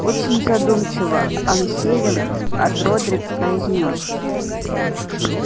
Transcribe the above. очень задумчиво ансельм от родрик произнёс